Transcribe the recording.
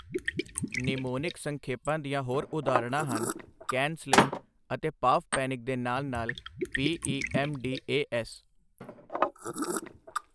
Mnemonic ਸੰਖੇਪਾਂ ਦੀਆਂ ਹੋਰ ਉਦਾਹਰਣਾਂ ਹਨ ਕੈਨ ਸਲਿਮ, ਅਤੇ ਪਾਵਪੈਨਿਕ ਦੇ ਨਾਲ ਨਾਲ ਪੀ.ਈ.ਐੱਮ.ਡੀ.ਏ.ਐੱਸ.।